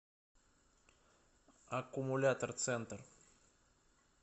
аккумулятор центр